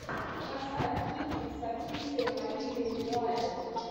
поставь кинчик с актрисой оливией уайлд